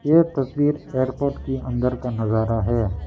एक तस्वीर एयरपोर्ट के अंदर का नजारा है।